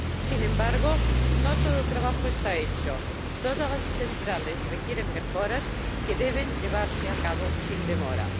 Sin embargo, no todo el trabajo está hecho. Todas las centrales requieren mejoras, que deben llevarse a cabo sin demora.